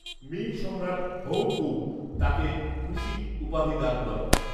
Ming সম্রাট Hongwu তাকে Gushi উপাধি দান করেন